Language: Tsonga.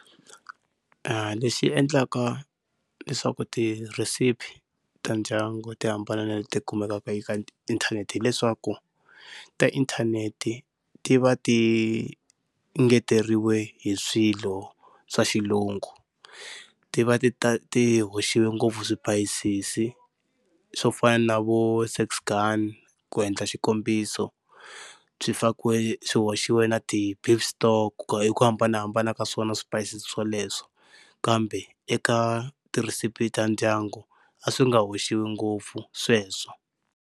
Lexi endlaka leswaku tirhesipi ta ndyangu ti hambana na leti kumekaka eka inthanete hileswaku ta inthanete ti va ti engeteriwe hi swilo swa xilungu, ti va ti ti hoxiwe ngopfu swipayisisi swo fana na vo Six Gun ku endla xikombiso, swi fakiwe swi hoxiwa na ti-beef stock hi ku hambanahambana ka swona swipayisisi swoleswo, kambe eka tirhisipi ta ndyangu a swi nga hoxiwa ngopfu sweswo.